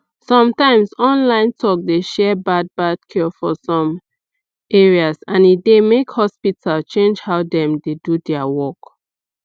some times online talk dey share bad bad cure for some ares and e dey make hospital change how dem dey do their work